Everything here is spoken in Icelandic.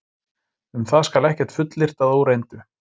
Um það skal ekkert fullyrt að óreyndu.